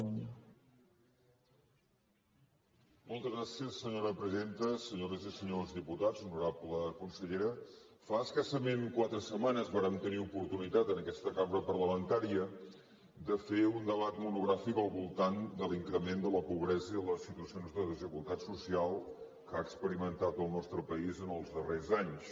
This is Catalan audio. senyores i senyors diputats honorable consellera fa escassament quatre setmanes vàrem tenir oportunitat en aquesta cambra parlamentària de fer un debat monogràfic al voltant de l’increment de la pobresa i les situacions de desigualtat social que ha experimentat el nostre país en els darrers anys